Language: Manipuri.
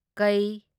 ꯀꯩ